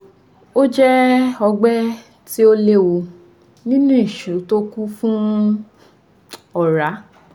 Ó jẹ́ ọgbẹ́ tí ò léwu nínú ìṣù tó kún fún ọ̀rá